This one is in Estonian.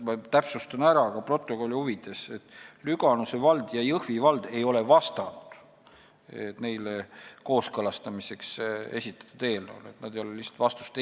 Ma täpsustan ka protokolli huvides, et Lüganuse vald ja Jõhvi vald ei ole neile kooskõlastamiseks esitatud eelnõu koha pealt vastanud.